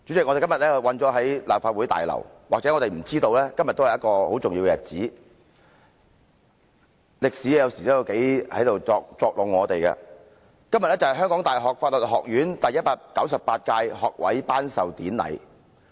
我們今天困身於立法會大樓，可能不知道今天是一個很重要的日子——歷史有時真的在作弄我們——香港大學法律學院今天舉行第一百九十八屆學位頒授典禮。